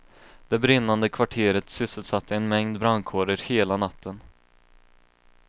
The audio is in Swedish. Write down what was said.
Det brinnande kvarteret sysselsatte en mängd brandkårer hela natten.